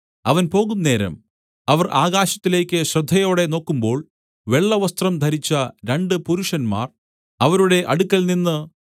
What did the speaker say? അവൻ പോകുന്നേരം അവർ ആകാശത്തിലേക്ക് ശ്രദ്ധയോടെ നോക്കുമ്പോൾ വെള്ളവസ്ത്രം ധരിച്ച രണ്ട് പുരുഷന്മാർ അവരുടെ അടുക്കൽനിന്ന്